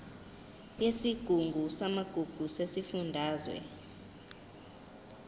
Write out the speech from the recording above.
yesigungu samagugu sesifundazwe